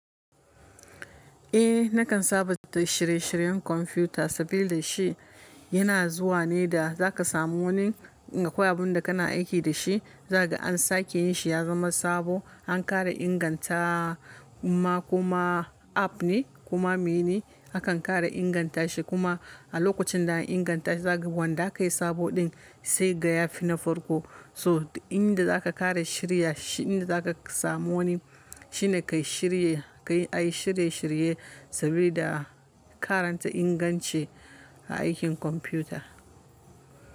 Eh, nakan saba da shirye-shiryen kwamfuta sabili shi yana zuwa ne da za ka samu wani akwai abin da kana aiki da shi, zaka ga an sake yin shi ya zama sabo. An ƙara inganta kuma app ne kuma me ne? Akan ƙara inganta shi kuma a lokacin da an inganta shi zaka ga wanda ka yi sabo ɗin sai ga ya fi na farko. So, inda za ka ƙara shirya, inda za ka samu wani shine ka yi shirye, ka yi ayi shirye-shirye saboda karanta inganci a aikin kwamfuta.